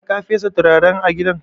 Har ka fesa turaren a gidan?